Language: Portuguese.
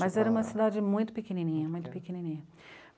Mas era uma cidade muito pequenininha, muito pequenininha.